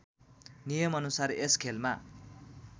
नियमअनुसार यस खेलमा